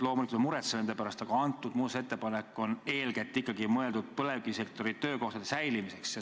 Loomulikult me muretseme nende pärast, aga antud muudatusettepanek on eeskätt ikkagi mõeldud põlevkivisektoris töökohtade säilitamiseks.